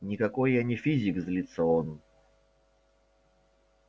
никакой я не физик злится он